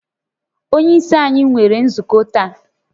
Onye isi anyi nwere nzukọ taa